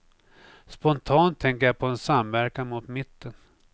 Spontant tänker jag på en samverkan mot mitten.